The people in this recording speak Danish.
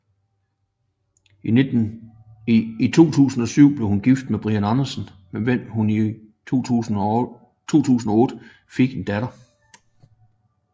I 2007 blev hun gift med Brian Andersen med hvem hun i 2008 fik en datter